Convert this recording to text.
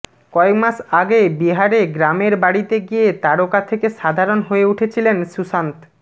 কয়েকমাস আগে বিহারে গ্রামের বাড়িতে গিয়ে তারকা থেকে সাধারণ হয়ে উঠেছিলেন সুশান্ত